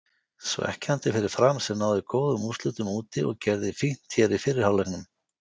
Svekkjandi fyrir Fram sem náði góðum úrslitum úti og gerði fínt hér í fyrri hálfleiknum.